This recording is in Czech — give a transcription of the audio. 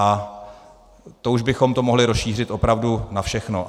A to už bychom to mohli rozšířit opravdu na všechno.